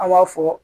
An b'a fɔ